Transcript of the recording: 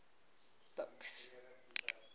buks